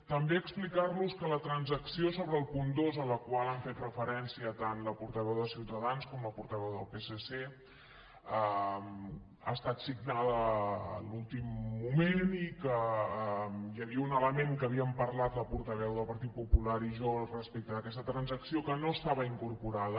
també explicar·los que la transacció sobre el punt dos a la qual han fet referència tant la portaveu de ciutadans com la portaveu del psc ha estat signada a l’últim moment i que hi havia un element que havíem parlat la portaveu del partit popular i jo respecte d’aquesta transacció que no estava incorporat